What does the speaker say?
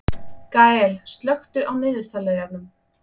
Gael, slökktu á niðurteljaranum.